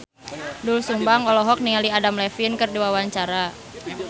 Doel Sumbang olohok ningali Adam Levine keur diwawancara